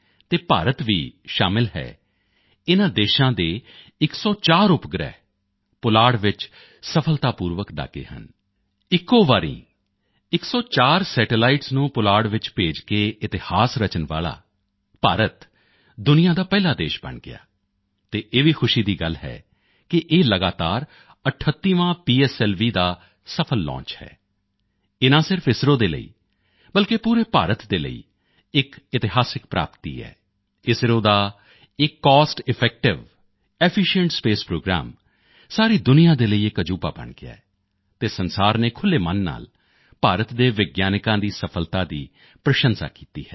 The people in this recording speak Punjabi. ਅਤੇ ਭਾਰਤ ਵੀ ਸ਼ਾਮਿਲ ਹੈ ਇਨ੍ਹਾਂ ਦੇਸ਼ਾਂ ਦੇ 104 ਉਪਗ੍ਰਹਿ ਪੁਲਾੜ ਵਿੱਚ ਸਫਲਤਾਪੂਰਵਕ ਦਾਗੇ ਹਨ ਇੱਕੋ ਵਾਰੀ 104 ਸੈਟੇਲਾਈਟਸ ਨੂੰ ਪੁਲਾੜ ਵਿੱਚ ਭੇਜ ਕੇ ਇਤਿਹਾਸ ਰਚਣ ਵਾਲਾ ਭਾਰਤ ਦੁਨੀਆਂ ਦਾ ਪਹਿਲਾ ਦੇਸ਼ ਬਣ ਗਿਆ ਅਤੇ ਇਹ ਵੀ ਖੁਸ਼ੀ ਦੀ ਗੱਲ ਹੈ ਕਿ ਕੀ ਇਹ ਲਗਾਤਾਰ 38ਵਾਂ ਪੀਐਸਐਲਵੀ ਦਾ ਸਫਲ ਲਾਂਚ ਹੈ ਇਹ ਨਾ ਸਿਰਫ ਇਸਰੋ ਦੇ ਲਈ ਬਲਕਿ ਪੂਰੇ ਭਾਰਤ ਦੇ ਲਈ ਇਕ ਇਤਿਹਾਸਕ ਪ੍ਰਾਪਤੀ ਹੈ ਇਸਰੋ ਦਾ ਇਹ cost effective efficient space programme ਸਾਰੀ ਦੁਨੀਆਂ ਦੇ ਲਈ ਇਕ ਅਜੂਬਾ ਬਣ ਗਿਆ ਹੈ ਅਤੇ ਸੰਸਾਰ ਨੇ ਖੁੱਲ੍ਹੇ ਮਨ ਨਾਲ ਭਾਰਤ ਦੇ ਵਿਗਿਆਨਕਾਂਦੀ ਸਫਲਤਾ ਦੀ ਪ੍ਰਸ਼ੰਸਾ ਕੀਤੀ ਹੈ